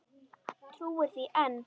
Trúir því enn.